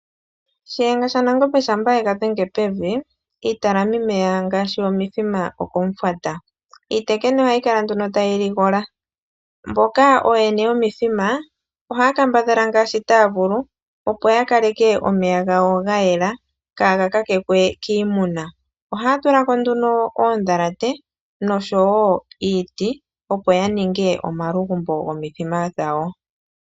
Shiyenga shaNangombe ngele oye gadhenge pevi iitalamimeya ngaashi omithima okomufwata. Iitekene ohayi kala nduno tayi ligola. Mboka ooyene yomithima ohaya kambadhala ngaashi taya vulu opo ya kaleke omeya gawo ga yela kaaga luudhikwe kiimuna. Ohaya tulako nduno oondhalate noshowo iiti opo yaninge oongandjo dhomithima yawo.